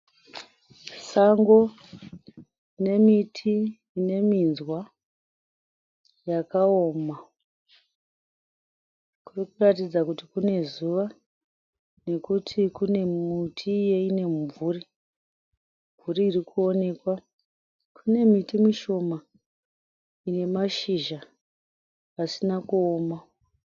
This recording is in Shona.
Sango nemiti ine minzwa yakaoma. Kurikutaridza kuti kune zuva nekuti kune miti yeimwe mimvuri. Mimvuri irikuoneka kune miti mishoma ine mashizha asina kuoma.